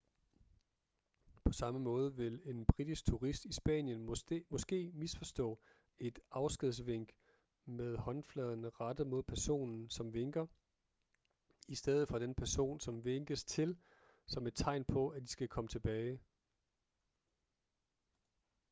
på samme måde vil en britisk turist i spanien måske misforstå et afskedsvink med håndfladen rettet mod personen som vinker i stedet for den person som vinkes til som et tegn på at de skal komme tilbage